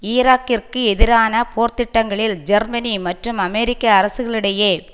ஈராக்கிற்கு எதிரான போர்த்திட்டங்களில் ஜெர்மனி மற்றும் அமெரிக்க அரசுகளுக்கிடையே